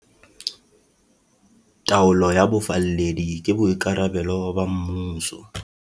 Taolo ya bofalledi ke boikarabelo ba mmuso.